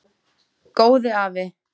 Góði afi.